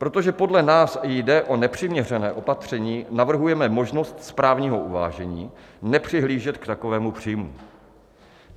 Protože podle nás jde o nepřiměřené opatření, navrhujeme možnost správního uvážení nepřihlížet k takovému příjmu.